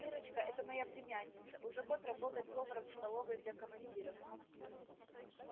миррочка это моя племянница уже год работает поваром в столовой для командиров